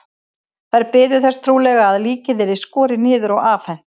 Þær biðu þess trúlega að líkið yrði skorið niður og afhent.